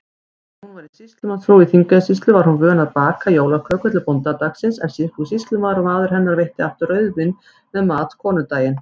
Þegar hún var sýslumannsfrú í Þingeyjarsýslu, var hún vön að baka jólaköku til bóndadagsins, en Sigfús sýslumaður, maður hennar, veitti aftur rauðvín með mat konudaginn.